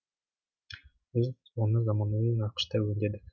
біз оны заманауи нақышта өңдедік